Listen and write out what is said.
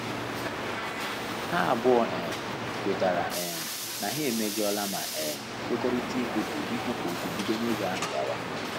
Ha abụọ um kwetara um na ha emejola ma um kwekọrịta ikwupu ikwupu okwu bido n'oge ahụ gawa